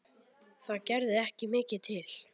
Það er heila málið.